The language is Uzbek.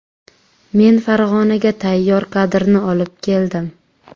Men Farg‘onaga tayyor kadrni olib keldim.